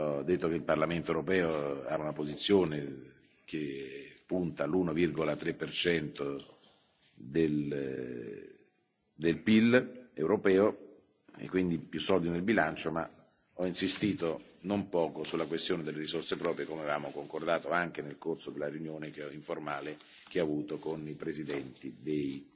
Ho detto che il Parlamento europeo ha una posizione che punta all'1,3 del PIL europeo, e quindi più soldi nel bilancio, ma ho insistito non poco sulla questione delle risorse proprie, come avevamo concordato anche nel corso della riunione informale che ho avuto con i presidenti